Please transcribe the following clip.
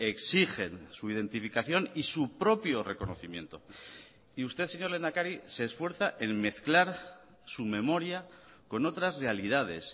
exigen su identificación y su propio reconocimiento y usted señor lehendakari se esfuerza en mezclar su memoria con otras realidades